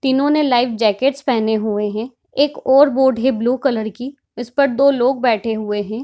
तीनों ने light jackets पेहने हुए हैं एक और बोट है ब्लू कलर की उस पर दो लोग बैठे हुए हैं।